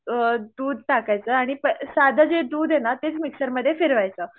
अ दूध टाकायचं आणि साधं जे दूध आहे ना तेच मिक्सर मध्ये फिरवायचं.